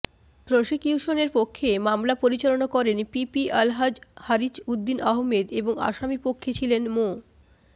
প্রসিকিউশনের পক্ষে মামলা পরিচালনা করেন পিপি আলহাজ্ব হারিছ উদ্দিন আহমেদ এবং আসামি পক্ষে ছিলেন মো